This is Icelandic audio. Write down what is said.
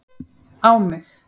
á mig